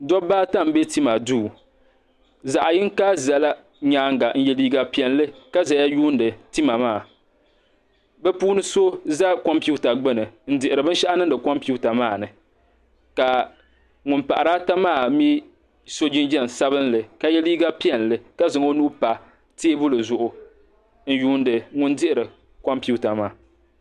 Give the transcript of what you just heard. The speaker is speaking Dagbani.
Dobba ata m-be tima duu zaɣiyŋga zala nyaaŋa n-ye liiga piɛlli ka zaya yuuni tima maa bɛ puuni so za kompiwuta gbuni n-dihiri binshɛɣu niŋdi kompiwuta maa ni ka ŋun pahiri ata maa mi so jinjam sabinli ka ye liiga piɛlli ka zaŋ o nuu pa teebuli zuɣu n-yuuni ŋun dihiri kompiwuta maa.